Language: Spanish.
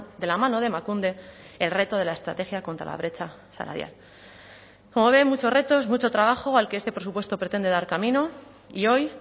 de la mano de emakunde el reto de la estrategia contra la brecha salarial como ve muchos retos mucho trabajo al que este presupuesto pretende dar camino y hoy